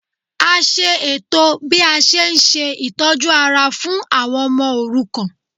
A ṣe ètò bí a ṣe n ṣe itọju ara fún àwọn ọmọ òrukàn